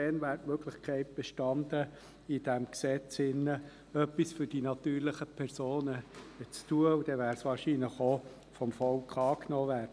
Bereits damals hätte die Möglichkeit bestanden, in diesem Gesetz etwas für die natürlichen Personen zu tun, und dann wäre es wahrscheinlich auch vom Volk angenommen worden.